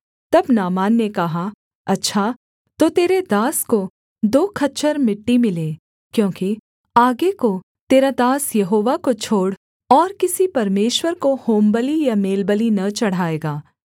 तब नामान ने कहा अच्छा तो तेरे दास को दो खच्चर मिट्टी मिले क्योंकि आगे को तेरा दास यहोवा को छोड़ और किसी परमेश्वर को होमबलि या मेलबलि न चढ़ाएगा